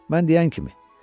Mən deyən kimi.